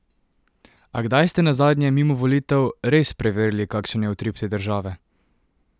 A kdaj ste nazadnje, mimo volitev, res preverili, kakšen je utrip te države?